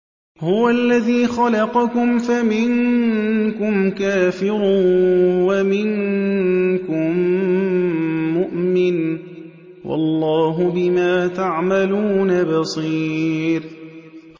هُوَ الَّذِي خَلَقَكُمْ فَمِنكُمْ كَافِرٌ وَمِنكُم مُّؤْمِنٌ ۚ وَاللَّهُ بِمَا تَعْمَلُونَ بَصِيرٌ